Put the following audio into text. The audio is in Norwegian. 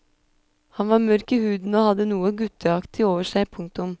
Han var mørk i huden og hadde noe gutteaktig over seg. punktum